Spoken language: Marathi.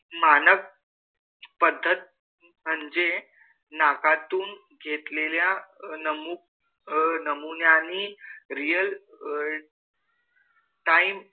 मानक पद्धत म्हणजे नाकातून घेतलेल्या नमु अह नमुन्यांनी real अं time